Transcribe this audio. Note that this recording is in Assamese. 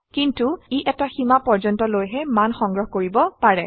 কিন্তু ই এটা সীমা পৰ্যন্তলৈহে মান সংগ্ৰহ কৰিব পাৰে